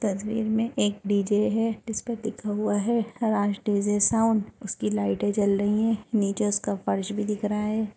तस्वीर में एक डी_जे है। इसपे लिखा हुआ है राज डी_जे साउन्ड उसकी लाइटे जल रही हैं। नीचे उसका फर्श भी दिख रहा है।